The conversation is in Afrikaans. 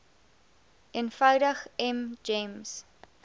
eenvoudig m gems